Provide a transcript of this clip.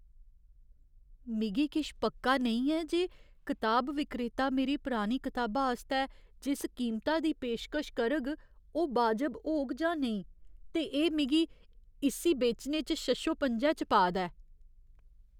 मिगी किश पक्का नेईं ऐ जे कताब विक्रेता मेरी परानी कताबा आस्तै जिस कीमता दी पेशकश करग ओह् बाजब होग जां नेईं, ते एह् मिगी इस्सी बेचने च शशोपंजै च पा दा ऐ।